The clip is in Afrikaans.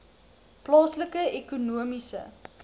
plaaslike ekonomiese